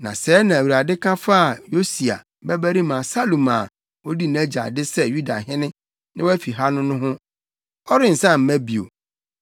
Na sɛɛ na Awurade ka faa Yosia babarima Salum a odii nʼagya ade sɛ Yudahene na wafi ha no ho: “Ɔrensan mma bio.